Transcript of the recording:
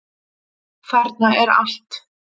Þarna er allt.